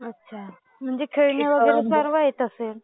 अच्छा म्हणजे खेळणी वगैरे सर्व येत असेल?